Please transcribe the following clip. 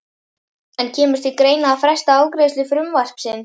En kemur til greina að fresta afgreiðslu frumvarpsins?